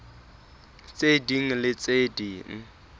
tse ding le tse ding